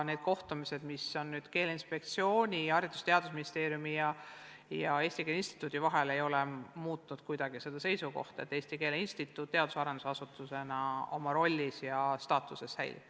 Need kohtumised, mis on nüüdseks Keeleinspektsiooni ja Haridus- ja Teadusministeeriumi ja Eesti Keele Instituudi vahel toimunud, ei ole kuidagi muutnud seda seisukohta, et Eesti Keele Instituut teadus- ja arendusasutusena oma rollis ja staatuses säilib.